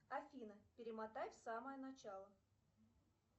афина перемотай в самое начало